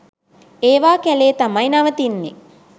ඒවා කැලේ තමයි නවතින්නෙ.